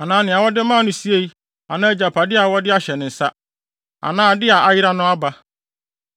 anaa nea wɔde maa no siei anaa agyapade a wɔde ahyɛ ne nsa, anaa ade a ayera no aba,